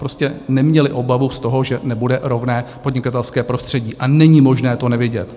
Prostě neměli obavu z toho, že nebude rovné podnikatelské prostředí, a není možné to nevidět.